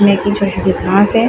में की छोटे-छोटे घास हैं ।